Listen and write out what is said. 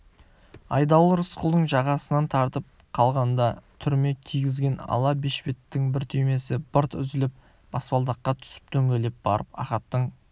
айдауыл рысқұлдың жағасынан тартып қалғанда түрме кигізген ала бешпеттің бір түймесі бырт үзіліп баспалдаққа түсіп дөңгелеп барып ахаттың